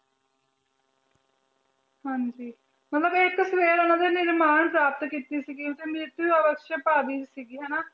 ਹਾਂਜੀ ਨਿਰਮਾਣ ਪ੍ਰਾਪਤ ਕੀਤੀ ਸੀਗੀ ਸੀਗੀ ਹਨਾ।